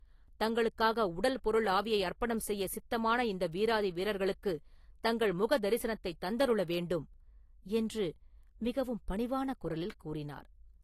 தங்களுக்காக உடல் பொருள் ஆவியை அர்ப்பணம் செய்ய சித்தமான இந்த வீராதி வீரர்களுக்கு தங்கள் முக தரிசனத்தைத் தந்தருள வேண்டும்!” என்று மிகவும் பணிவான குரலில் கூறினார்.